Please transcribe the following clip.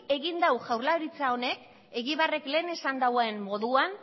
egin dau jaurlaritza honek egibarrek lehen esan dauen moduan